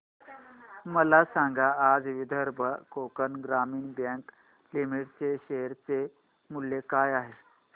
मला सांगा आज विदर्भ कोकण ग्रामीण बँक लिमिटेड च्या शेअर चे मूल्य काय आहे